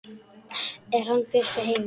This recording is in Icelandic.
Er hann Bjössi heima?